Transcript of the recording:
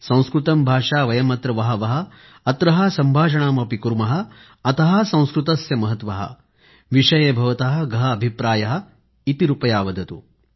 संस्कृतं भाषा वयमत्र वहः वहः अत्रः सम्भाषणमअपि कुर्मः अतः संस्कृतस्य महत्वः विषये भवतः गहः अभिप्रायः इति रुपयावदतु